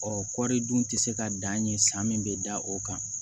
Ɔ kɔɔri dun tɛ se ka dan ye san min bɛ da o kan